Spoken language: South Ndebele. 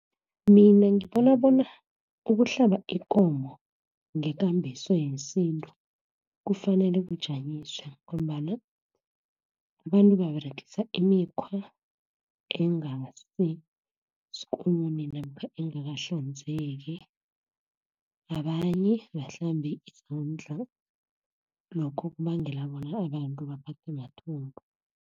Mina ngibona bona ukuhlaba ikomo, ngekambiso yesintu, kufanele kujanyiswe, ngombana abantu baberegisa imikhwa, ingasiskune namkha angakahlanzeki. Abanye abahlambi izandla lokho kubangela bona abantu baphethwe mathumbu.